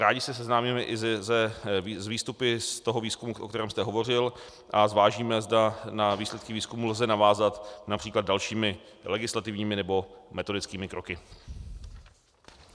Rádi se seznámíme i s výstupy z toho výzkumu, o kterém jste hovořil, a zvážíme, zda na výsledky výzkumu lze navázat například dalšími legislativními nebo metodickými kroky.